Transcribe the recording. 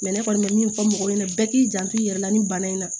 ne kɔni bɛ min fɔ mɔgɔw ɲɛna bɛɛ k'i janto i yɛrɛ la ni bana in na